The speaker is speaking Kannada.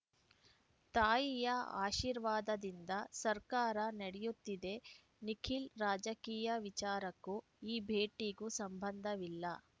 ತಾಯಿಯ ಆಶೀರ್ವಾದದಿಂದ ಸರ್ಕಾರ ನಡೆಯುತ್ತಿದೆ ನಿಖಿಲ್‌ ರಾಜಕೀಯ ವಿಚಾರಕ್ಕೂ ಈ ಭೇಟಿಗೂ ಸಂಬಂಧವಿಲ್ಲ